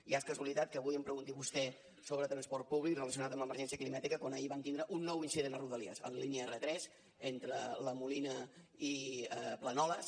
ja és casualitat que avui em pregunti vostè sobre transport públic relacionat amb l’emergència climàtica quan ahir vam tindre un nou incident a rodalies en la línia r3 entre la molina i planoles